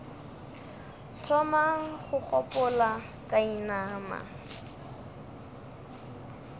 thoma go gopola ka inama